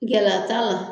Gɛlɛya t'a la